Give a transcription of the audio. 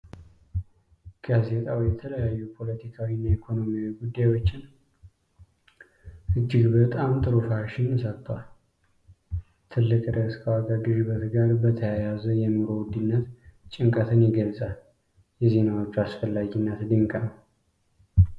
ጋዜጣው የተለያዩ ፖለቲካዊ እና ኢኮኖሚያዊ ጉዳዮችን እጅግ በጣም ጥሩ ሽፋን ሰጥቷል። ትልቁ ርዕስ ከዋጋ ግሽበት ጋር በተያያዘ የኑሮ ውድነት ጭንቀትን ይገልጻል። የዜናዎቹ አስፈላጊነት ድንቅ ነው ።